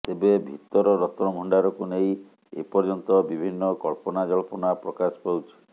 ତେବେ ଭିତର ରତ୍ନଭଣ୍ଡାରକୁ ନେଇ ଏ ପର୍ଯ୍ୟନ୍ତ ବିଭିନ୍ନ କଳ୍ପନାଜଳ୍ପନା ପ୍ରକାଶ ପାଉଛି